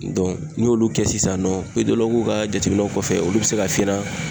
n'i y'olu kɛ sisan nɔ ka jateminɛw kɔfɛ, olu be se ka f'i ɲɛna